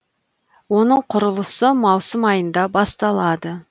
оның құрылысы маусым айында басталады